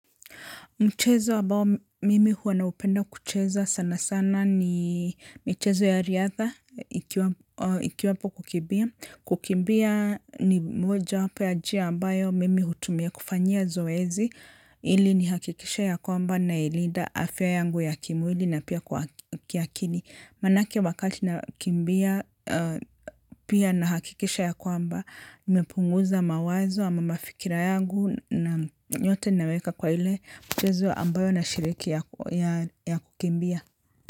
Mchezo ambao mimi huwa naupenda kucheza sana sana ni michezo ya riadha ikiwapo kukimbia. Kukimbia ni moja wapo ya njia ambayo mimi hutumia kufanyia zoezi. Ili ni hakikishe ya kwamba nailinda afya yangu ya kimwili na pia kiakili. Manake wakati nakimbia, pia na hakikisha ya kwamba, nimepunguza mawazo ama mafikra yangu na nyote naweka kwa ile mchezo ambayo nashiriki ya kukimbia.